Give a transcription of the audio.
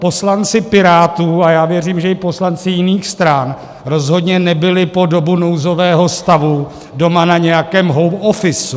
Poslanci Pirátů - a já věřím, že i poslanci jiných stran - rozhodně nebyli po dobu nouzového stavu doma na nějakém home office.